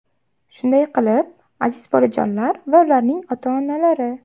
Shunday qilib, aziz bolajonlar va ularning ota-onalari!